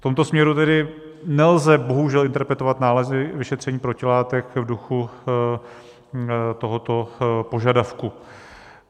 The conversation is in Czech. V tomto směru tedy nelze bohužel interpretovat nálezy vyšetření protilátek v duchu tohoto požadavku.